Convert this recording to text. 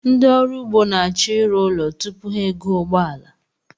Ndị ọrụugbo na-achọ ịrụ ụlọ tupu ha egoo ụgbọala